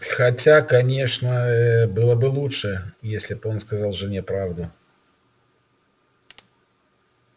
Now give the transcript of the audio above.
хотя конечно ээ было бы лучше если б он сказал жене правду